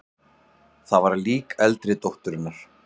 Það var lík eldri dótturinnar.